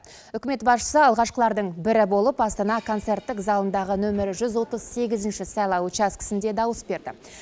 үкімет басшысы алғашқылардың бірі болып астана концерттік залындағы нөмірі жүз отыз сегізінші сайлау учаскесінде дауыс берді